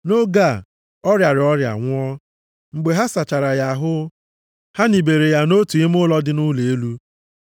Nʼoge a, ọ rịara ọrịa, nwụọ. Mgbe ha sachara ya ahụ, ha nibere ya nʼotu ime ụlọ dị nʼụlọ elu.